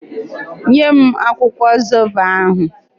Nye m akwụkwọ zobo ahụ!